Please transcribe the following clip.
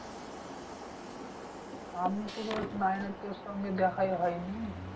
আমি তো তোর nine এ তোর সঙ্গে দেখাই হয় নি।